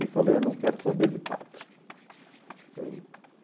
E falei, eu não quero saber de Padre.